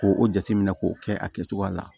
K'o o jateminɛ k'o kɛ a kɛcogoya la